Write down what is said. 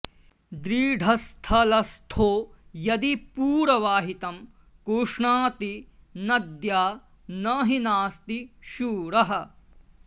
दृढस्थलस्थो यदि पूरवाहितं कुष्णाति नद्या न हि नास्ति शूरः